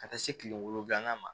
Ka taa se kile wolonwula ma